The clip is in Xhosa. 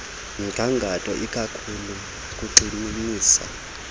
mgangatho ikakhulu kugxininisa